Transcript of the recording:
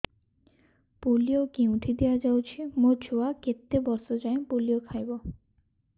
polio କେଉଁଠି ଦିଆଯାଉଛି ମୋ ଛୁଆ କେତେ ବର୍ଷ ଯାଏଁ ପୋଲିଓ ଖାଇବ